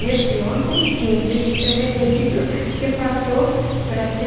E esse ontem, quinze de fevereiro, que passou para